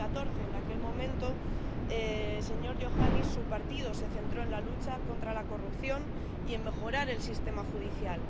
2014. En aquel momento, señor Iohannis, su partido se centró en la lucha contra la corrupción y en mejorar el sistema judicial.